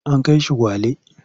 An kai shi Gwale.